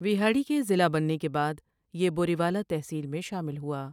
وہاڑی کے ضلع بننے کے بعد یہ بوریوالہ تحصیل میں شامل ہوا ۔